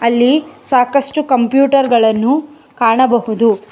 ಅಲ್ಲಿ ಸಾಕಷ್ಟು ಕಂಪ್ಯೂಟರ್ ಗಳನ್ನು ಕಾಣಬಹುದು.